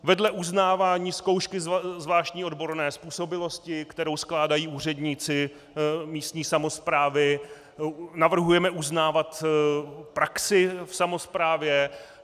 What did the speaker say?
Vedle uznávání zkoušky zvláštní odborné způsobilosti, kterou skládají úředníci místní samosprávy, navrhujeme uznávat praxi v samosprávě.